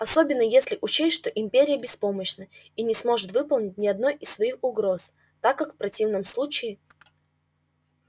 особенно если учесть что империя беспомощна и не сможет выполнить ни одной из своих угроз так как в противном случае